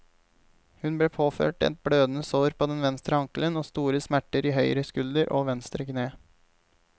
Hun ble påført et blødende sår på den venstre ankelen og store smerter i høyre skulder og venstre kne.